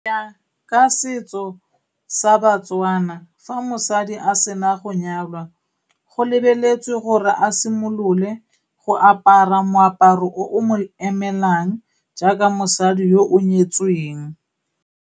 ka setso sa Batswana, fa mosadi a sena go nyalwa, go lebeletswe gore a simolole go apara moaparo o o mo emelang jaaka mosadi yo o nyetsweng.